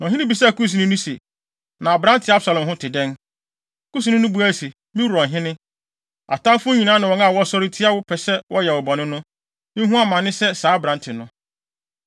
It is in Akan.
Na ɔhene bisaa Kusni no se, “Na aberante Absalom ho te dɛn?” Kusni no buae se, “Me wura ɔhene, atamfo nyinaa ne wɔn a wɔsɔre tia wo, pɛ sɛ wɔyɛ wo bɔne no, nhu amane sɛ saa aberante no.”